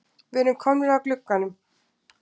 Við erum komnir að glugganum.